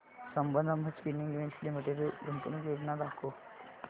Sambandam spinning mills limited गुंतवणूक योजना दाखव